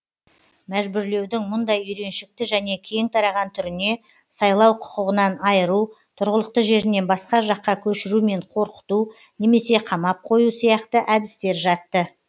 мәжбүрлеудің мұндай үйреншікті және кең тараған түріне сайлау құқығынан айыру тұрғылықты жерінен басқа жаққа көшірумен қорқыту немесе қамап қою сияқты әдістер жатты